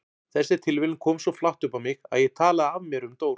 Þessi tilviljun kom svo flatt upp á mig að ég talaði af mér um Dór.